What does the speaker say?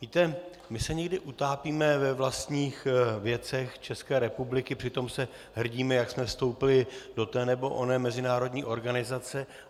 Víte, my se někdy utápíme ve vlastních věcech České republiky, přitom se hrdíme, jak jsme vstoupili do té nebo oné mezinárodní organizace.